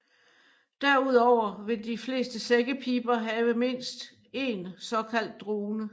Derudover vil de fleste sækkepiber have mindst en såkaldt drone